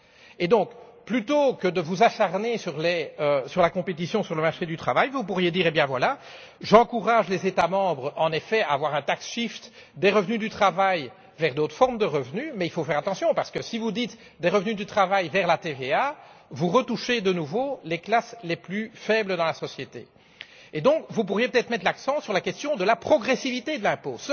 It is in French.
Et donc plutôt que de vous acharner sur la compétition sur le marché du travail, vous pourriez dire J'encourage les États membres, en effet, à instaurer un tax shift des revenus du travail vers d'autres formes de revenus, mais il faut faire attention parce que, si vous dites des revenus du travail vers la TVA, c'est à nouveau les classes les plus faibles de la société qui s'en ressentent. Vous pourriez donc peut être mettre l'accent sur la question de la progressivité de l'impôt.